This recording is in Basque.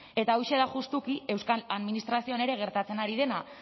eta hauxe da justuki euskal administrazioan ere gertatzen ari dena